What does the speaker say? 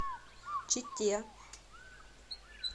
чите